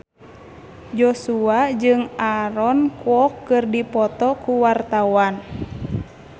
Joshua jeung Aaron Kwok keur dipoto ku wartawan